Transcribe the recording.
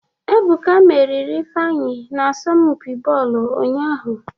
Ebuka meriri Ifeanyị n'asọmpi bọọlụ ụnyahụ